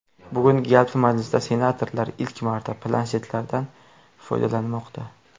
Bugungi yalpi majlisda senatorlar ilk marta planshetlardan foydalanmoqda.